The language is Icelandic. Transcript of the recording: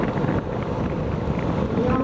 Jón Svan.